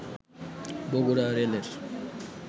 বগুড়া রেলের